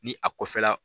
Ni a kɔfɛla